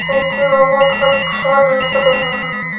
बहोत अच्छा दिख रहें हैं।